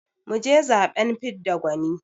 mu je zaɓen fidda gwani